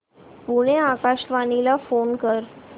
पुणे आकाशवाणीला फोन कर